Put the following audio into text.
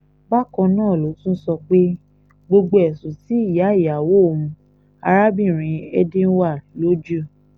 bákan náà ló tún sọ pé gbogbo ẹ̀sùn tí ìyá ìyàwó òun arábìnrin edwina logio